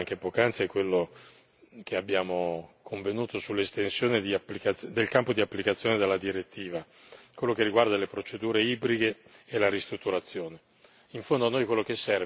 Il primo, che ho sentito ricordare anche poc'anzi, è quello che abbiamo convenuto sull'estensione del campo d'applicazione della direttiva, quello che riguarda le procedure ibride e la ristrutturazione.